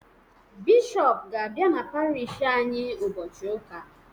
Bishọp ga-abịa n'Parish anyị ụbọchị Ụka.